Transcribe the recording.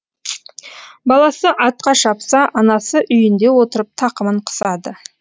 баласы атқа шапса анасы үйінде отырып тақымын қысады